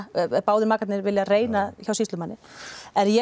báðir makarnir vilja reyna hjá sýslumanni en ég